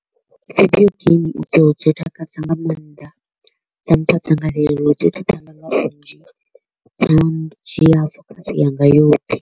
Video game idzo dzi takadza nga maanḓa, dza mpha dzangalelo, dzi tshi nnzhi dza ndzhia focus yanga yoṱhe.